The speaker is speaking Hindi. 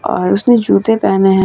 और उसने जूते पहने हैं |